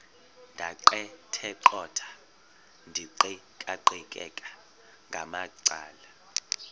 ndaqetheqotha ndiqikaqikeka ngamacala